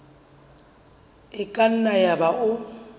e ka nna yaba o